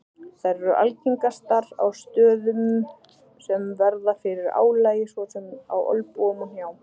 Þær eru algengastar á stöðum sem verða fyrir álagi svo sem á olnbogum og hnjám.